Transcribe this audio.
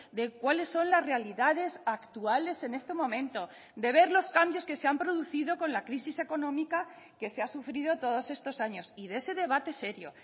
de cuáles son las realidades actuales en este momento de ver los cambios que se han producido con la crisis económica que se ha sufrido todos estos años y de ese debate serio